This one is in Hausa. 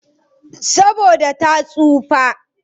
Saboda ta tsufa.